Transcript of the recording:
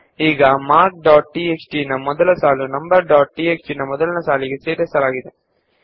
ಈಗ numbers dot TXT ನ ಮೊದಲ ಸಾಲು ಮಾರ್ಕ್ಸ್ ಡಾಟ್ ಟಿಎಕ್ಸ್ಟಿ ನ ಮೊದಲ ಸಾಲಿನೊಂದಿಗೆ ಸೇರಿಕೊಂಡಿದೆ